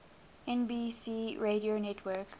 nbc radio network